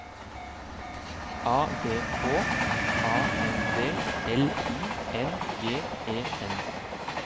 A V H A N D L I N G E N